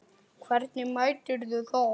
Hvernig meturðu það?